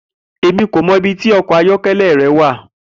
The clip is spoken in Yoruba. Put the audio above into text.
Emi ko mọ ibiti ọkọ ayọkẹlẹ rẹ wa.